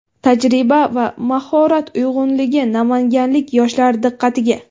Tajriba va mahorat uyg‘unligi : Namanganlik yoshlar diqqatiga!.